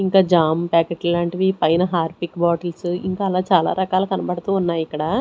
ఇంక jam packet లాంటివి పైన హార్పిక్ బాటిల్స్ ఇంకా అలా చాలా రకాల కనపడుతున్నాయి ఇక్కడ --